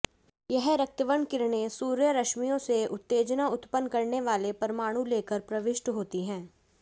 यह रक्तवर्ण किरणें सूर्य रश्मियों से उत्तेजना उत्पन्न करने वाले परमाणु लेकर प्रविष्ट होती है